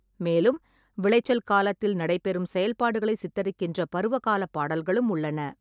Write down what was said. மேலும், விளைச்சல் காலத்தில் நடைபெறும் செயல்பாடுகளை சித்தரிக்கின்ற பருவகாலப் பாடல்களும் உள்ளன.